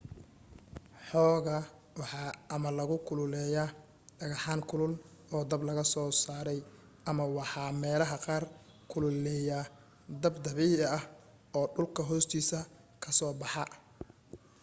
hogga waxa ama lagu kululeeyaa dhagxaan kulul oo dab laga soo saaray ama waxa meelaha qaar kuleeliya dab dabiica ah oo dhulka hoostiisa ka soo baxa